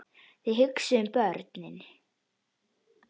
Þið hugsið um börnin.